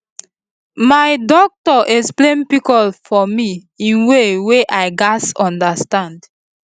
my doctor explain pcos for me in way wey i gatz understand